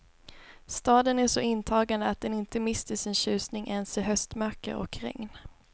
Staden är så intagande att den inte mister sin tjusning ens i höstmörker och regn.